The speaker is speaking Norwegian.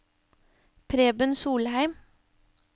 Preben Solheim